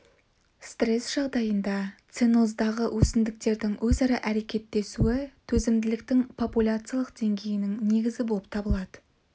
стресс жағдайында ценоздағы өсімдіктердің өзара әрекеттесуі төзімділіктің популяциялық деңгейінің негізі болып табылады